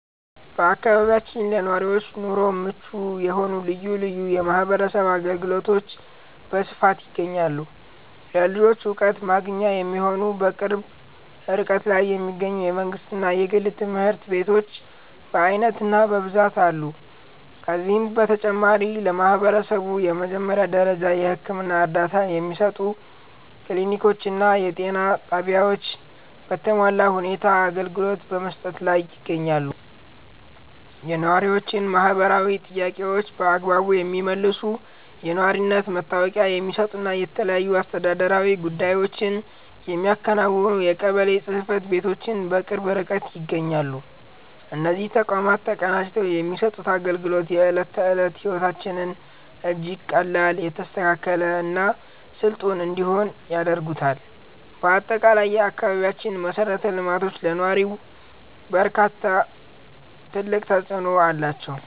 በአካባቢያችን ለነዋሪዎች ኑሮ ምቹ የሆኑ ልዩ ልዩ የማህበረሰብ አገልግሎቶች በስፋት ይገኛሉ። ለልጆች ዕውቀት ማግኛ የሚሆኑ፣ በቅርብ ርቀት ላይ የሚገኙ የመንግሥትና የግል ትምህርት ቤቶች በዓይነትና በብዛት አሉ። ከዚህም በተጨማሪ፣ ለማህበረሰቡ የመጀመሪያ ደረጃ የሕክምና እርዳታ የሚሰጡ ክሊኒኮችና የጤና ጣቢያዎች በተሟላ ሁኔታ አገልግሎት በመስጠት ላይ ይገኛሉ። የነዋሪዎችን ማህበራዊ ጥያቄዎች በአግባቡ የሚመልሱ፣ የነዋሪነት መታወቂያ የሚሰጡና የተለያዩ አስተዳደራዊ ጉዳዮችን የሚያከናውኑ የቀበሌ ጽሕፈት ቤቶችም በቅርብ ርቀት ይገኛሉ። እነዚህ ተቋማት ተቀናጅተው የሚሰጡት አገልግሎት፣ የዕለት ተዕለት ሕይወታችንን እጅግ ቀላል፣ የተስተካከለና ስልጡን እንዲሆን ያደርጉታል። በአጠቃላይ፣ የአካባቢያችን መሠረተ ልማቶች ለነዋሪው እርካታ ትልቅ አስተዋጽኦ አላቸው።